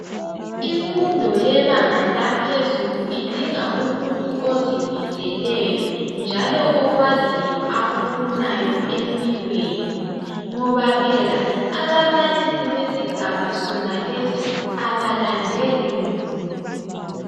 Imfundo yebanga laphezulu idinga umuntu ozimiseleyo njalo okwaziyo akufunayo empilweni ngoba phela ababalisi besigaba sona leso abalandeli muntu